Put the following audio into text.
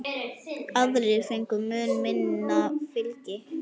Aðrir fengu mun minna fylgi.